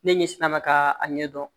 Ne ɲɛ sina ma ka a ɲɛ dɔn